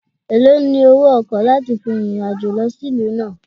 Èlòó ni owó ọkọ̀ láti fi fin ìrìn-àjò lọ sí ìlú náà?